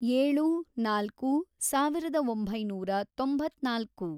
ಏಳು, ನಾಲ್ಕು, ಸಾವಿರದ ಒಂಬೈನೂರ ತೊಂಬತ್ನಾಲ್ಕು